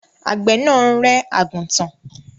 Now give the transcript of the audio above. Àgbẹ̀ ń rẹ́ àgùntàn.